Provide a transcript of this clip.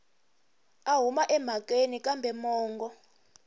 a huma emhakeni kambe mongo